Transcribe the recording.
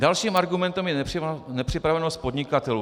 Dalším argumentem je nepřipravenost podnikatelů.